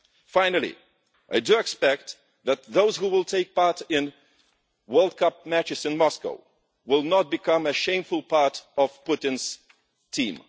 Finally, I expect that those who will take part in World Cup matches in Moscow will not become a shameful part of Putin's team.